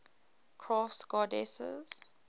crafts goddesses